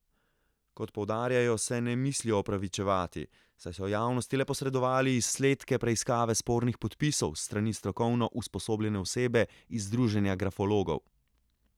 Kot poudarjajo, se ne mislijo opravičevati, saj so javnosti le posredovali izsledke preiskave spornih podpisov s strani strokovno usposobljene osebe iz Združenja grafologov.